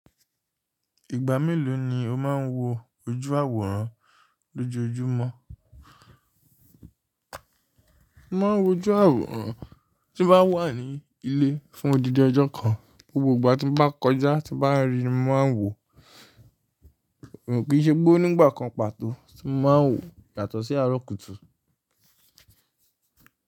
Ìgbà mélòó ni o máa ń wo ojú àwòrán lójoojúmọ́? Mo ma ń wo ojú àwòrán tí n bá wà ní ilé fún odidi ọjọ́ kan, gbogbo ìgbà tí n bá kọjá tí bá rí i ni mo ma ń wò ó, kí í ṣe pe o n'ígbà kan pàtó tí mo ma ń wò yàtọ̀ sí arókútù.